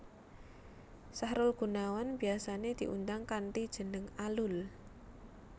Sahrul Gunawan biyasané diundang kanthi jeneng Alul